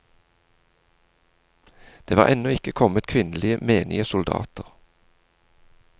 Det var ennå ikke kommet kvinnelige menige soldater.